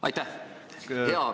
Aitäh!